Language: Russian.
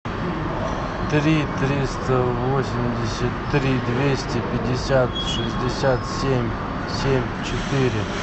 три триста восемьдесят три двести пятьдесят шестьдесят семь семь четыре